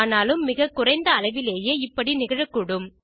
ஆனாலும் மிகக்குறைந்த அளவிலேயே இப்படி நிகழக்க்கூடும்